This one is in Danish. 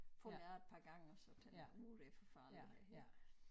Faldt jeg et par gange og så tænkte nu det for farligt det her